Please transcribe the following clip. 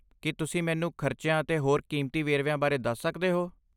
ਕੀ ਤੁਸੀਂ ਮੈਨੂੰ ਖਰਚਿਆਂ ਅਤੇ ਹੋਰ ਕੀਮਤੀ ਵੇਰਵਿਆਂ ਬਾਰੇ ਦੱਸ ਸਕਦੇ ਹੋ?